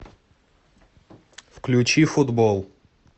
включи футбол